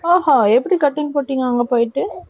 ஆ ஹான் எப்படி cutting போட்டீங்க அங்க போயிட்டு.